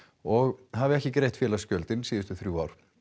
og hafi ekki greitt félagsgjöld síðustu þrjú ár